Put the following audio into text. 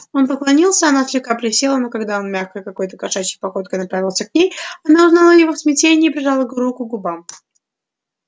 он поклонился она слегка присела но когда он мягкой какой-то кошачьей походкой направился к ней она узнала его в смятении прижала руку к губам